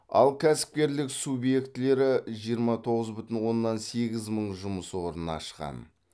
ал кәсіпкерлік субъектілері жиырма тоғыз бүтін оннан сегіз мың жұмыс орнын ашқан